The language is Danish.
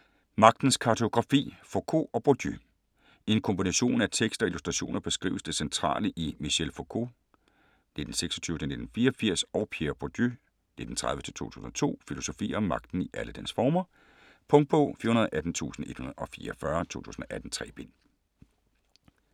Magtens kartografi: Foucault og Bourdieu I en kombination af tekst og illustrationer beskrives det centrale i Michel Foucaults (1926-1984) og Pierre Bourdieus (1930-2002) filosofier om magten i alle dens former. Punktbog 418144 2018. 3 bind.